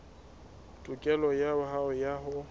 tokelo ya hao ya ho